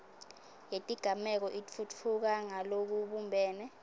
yetigameko itfutfuka ngalokubumbene